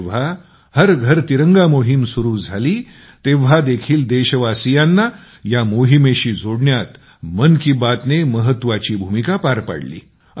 जेव्हा हर घर तिरंगा मोहीम सुरु झाली तेव्हा देखील देशवासियांना या मोहिमेशी जोडण्यात मन की बात ने महत्वाची भूमिका पार पाडली